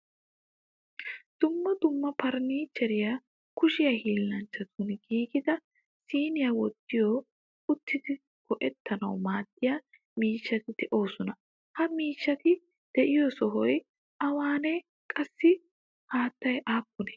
Dumma dumma furnichchere kushiyaa hilanchchatun giigida siiniyaa wottiyo uttidi go'ettanawu maadiyaa miishshati deosona. Ha miishshati deiyo sohoy awanne? Qassi hatee appune?